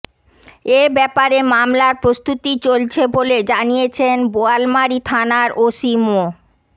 এ ব্যাপারে মামলার প্রস্তুতি চলছে বলে জানিয়েছেন বোয়ালমারী থানার ওসি মো